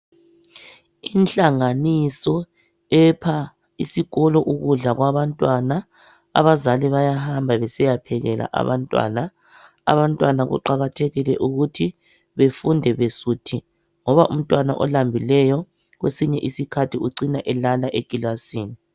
Inhlanganiso epha isikolo ukudla kwabantwana abazali bayahamba besiyaphekela abantwana abantwana kuqathekule ukuthi besiyafunda besuthi ngoba umtwana olambileyo kwesinye isikhathi ucina elala ekilasini